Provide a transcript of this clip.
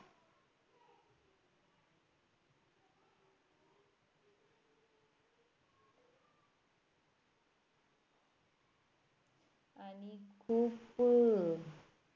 आणि खूप